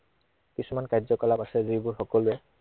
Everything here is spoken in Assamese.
কিছুমান কাৰ্যকলাপ আছে যিবোৰ সকলোৱে